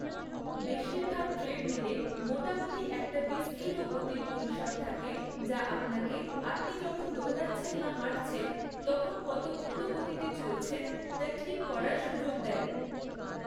বেশিরভাগ ট্রেডমিলে মোটামুটি একটা বিস্তৃত গতির পরিসর থাকে যা আপনাকে, আপনি যখন দৌড়াচ্ছেন বা হাঁটছেন, তখন কত দ্রুত গতিতে চলছেন তা ঠিক করার সুযোগ দেয়।